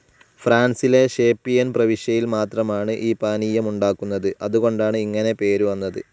ഫ്രാൻസിലെ ഷേപ്പിയെൻ പ്രവിശ്യയിൽ മാത്രമാണ് ഈ പാനീയമുണ്ടാക്കുന്നത്. അതുകൊണ്ടാണ് ഇങ്ങനെ പേര് വന്നത്.